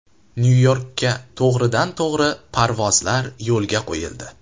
Nyu-Yorkka to‘g‘ridan-to‘g‘ri parvozlar yo‘lga qo‘yildi.